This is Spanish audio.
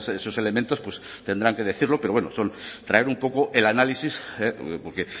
esos elementos tendrán que decirlo pero bueno son traer un poco el análisis porque